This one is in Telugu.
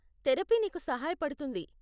థెరపీ నీకు సహాయపడుతుంది.